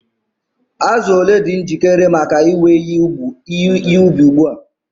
Azụ ole dị njikere maka iwe ihe ubi ugbu a?